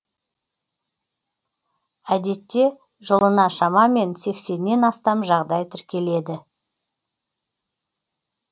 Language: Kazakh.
әдетте жылына шамамен сексеннен астам жағдай тіркеледі